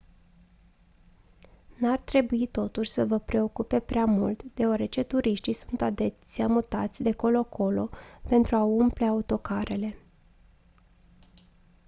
n-ar trebui totuși să vă preocupe prea mult deoarece turiștii sunt adesea mutați de colo colo pentru a umple autocarele